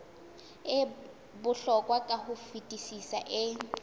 bohlokwa ka ho fetisisa e